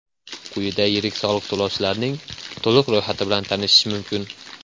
Quyida yirik soliq to‘lovchilarning to‘liq ro‘yxati bilan tanishish mumkin.